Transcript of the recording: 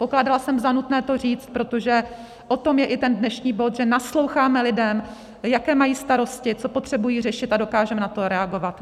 Pokládala jsem za nutné to říct, protože o tom je i ten dnešní bod, že nasloucháme lidem, jaké mají starosti, co potřebují řešit, a dokážeme na to reagovat.